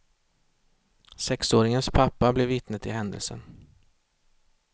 Sexåringens pappa blev vittne till händelsen.